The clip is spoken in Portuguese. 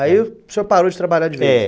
Aí o senhor parou de trabalhar de vez, é.